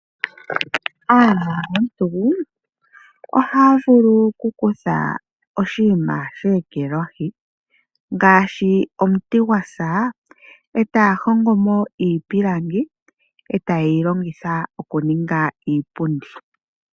Aanongontu, ohavulu okukutha oshiima shekelwahi ngashi omuti ngwasa etahongomo iipilangi eta yeyilongitha okuninga iipundi.